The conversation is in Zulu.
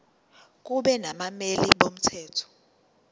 kube nabameli bomthetho